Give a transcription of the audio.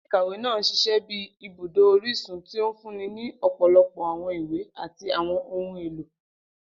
Ile-ikawe naa n ṣiṣẹ bi ibudo orisun, ti o funni ni ọpọlọpọ awọn iwe ati àwọn ohun elo.